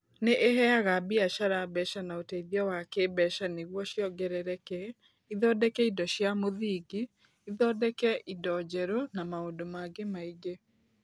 Nĩ ĩheaga biacara mbeca na ũteithio wa kĩĩmbeca nĩguo ciongerereke, ithondeke indo cia mũthingi, ithondeke indo njerũ, na maũndũ mangĩ maingĩ.